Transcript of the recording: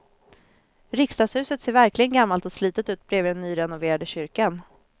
Riksdagshuset ser verkligen gammalt och slitet ut bredvid den nyrenoverade kyrkan.